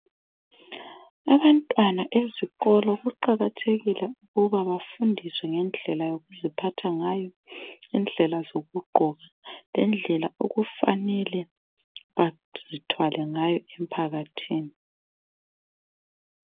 Abantwana ezikolo kuqakathekile ukuba bafundiswe ngendlela yokuziphatha ngayo lendlela yokugqoka, lendlela okufanele bazithwale ngayo emphakathini